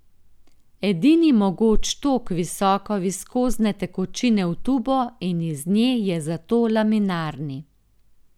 Edini mogoč tok visoko viskozne tekočine v tubo in iz nje je zato laminarni.